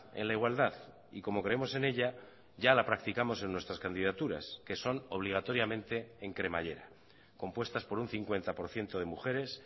en la igualdad y como creemos en ella ya la practicamos en nuestras candidaturas que son obligatoriamente en cremallera compuestas por un cincuenta por ciento de mujeres